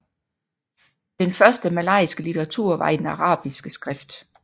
Den første malajiske litteratur var i den arabiske skrift